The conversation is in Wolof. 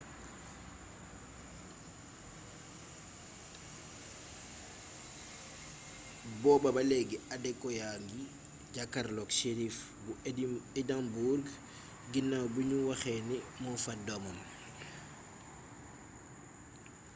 booba ba leegi adekoya a ngi jàkkarloo ak shérif bu édimbourg ginaaw bi ñu waxee ni moo faat doomam